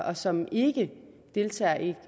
og som ikke deltager i